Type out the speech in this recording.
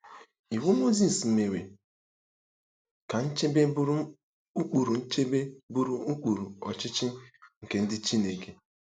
Iwu Mozis mere ka nchebe bụrụ ụkpụrụ nchebe bụrụ ụkpụrụ ọchịchị nke ndị Chineke.